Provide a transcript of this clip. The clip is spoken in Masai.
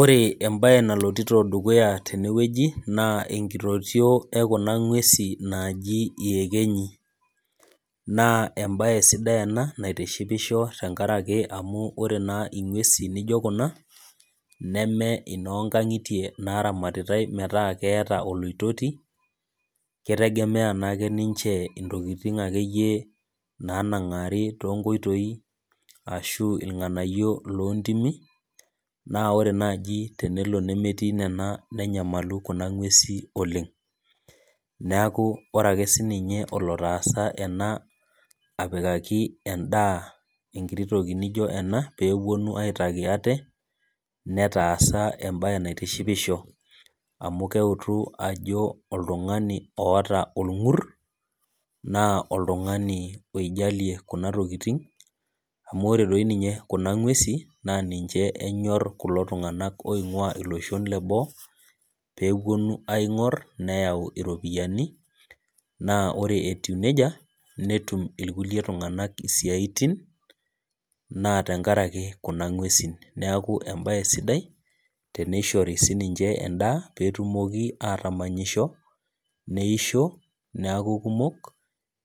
Ore mbae naloito dukuya tenewueji naa enkitotio ekuna ng'uesi naaaji enyekenyi naa mbae sidai ena naitishipisho tenkaraki amu ore naa nguesi naijio Kuna neme enoo nkang'itie naramatitae metaa ketaa oloitoti ekitegemea naake ninche entokitin ake nanang'ari too nkoitoi ashu irng'anayio loo ntimi naa ore naaji temetii Nena nenyamalu Kuna ng'uesi oleng neeku ore ake sininye olotasaa enaa apikaki endaa enkiti toki naijio ena peepuo u aitaki ate netasaka mbae naitishipisho amu keutu Ajo oltung'ani otaa orngurr naa oltung'ani oijalie Kuna tokitin amu ore doi Kuna ng'uesi naa ninche enyor kulo tung'ana oing'ua olosho lee boo pepuonu aing'or neyau ropiani naa ore etiu nejia netum irkulie tung'ana esiatin naa tenkaraki Kuna ng'uesi neeku mbae sidai tenishori sininche endaa petumoki atamanyisho neisho neeku kumok